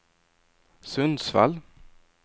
Sundsvall